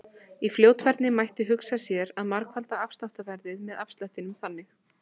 Í fljótfærni mætti hugsa sér að margfalda afsláttarverðið með afslættinum þannig: